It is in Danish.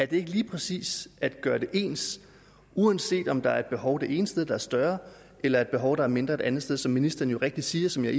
det ikke lige præcis at man gør det ens uanset om der er et behov det ene sted der er større eller et behov der er mindre et andet sted som ministeren rigtigt siger og som jeg